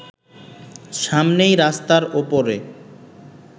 সামনেই রাস্তার ওপরে